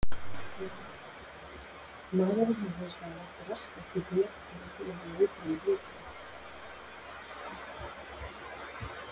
Maðurinn hefur hins vegar oft raskað slíku jafnvægi einmitt með því að útrýma rándýrunum.